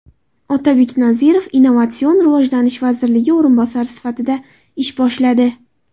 Otabek Nazirov Innovatsion rivojlanish vaziri o‘rinbosari sifatida ish boshladi.